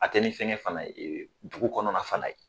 A tɛ ni fɛngɛ fana e dugu kɔnɔna fana ye